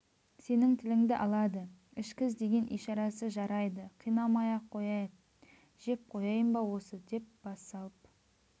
сенің тіліңді алады ішкіз деген ишарасы жарайды қинамай-ақ қояйық жеп қояйын ба осы деп бас салып